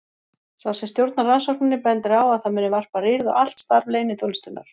Sá sem stjórnar rannsókninni bendir á að það muni varpa rýrð á allt starf leyniþjónustunnar.